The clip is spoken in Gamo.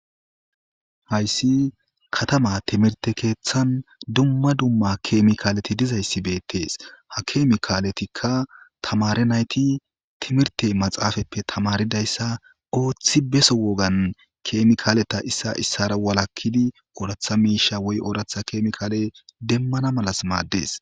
hayssi katama timirte keeththan dumma dumma kemikaaleti dizayssi beettees ha keemikaaletikka tamare nayti timirte maxaafappe tamaridayssa ooththi beso wogan keemikaaleta issa issara walakkidi ooratha miisha woy ooratha keemikaale demmana malas maaddes